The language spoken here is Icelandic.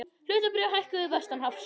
Hlutabréf hækkuðu vestanhafs